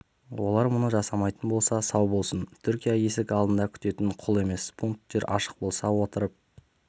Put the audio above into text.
олар мұны жасамайтын болса сау болсын түркия есік алдында күтетін құл емес пункттер ашық болса отырып